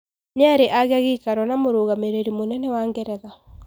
Niari agia giikaro na Mugamireri muynene wa Geretha.